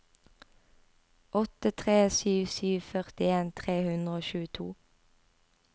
åtte tre sju sju førtien tre hundre og tjueto